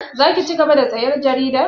Za ki cigaba da sayan jarida?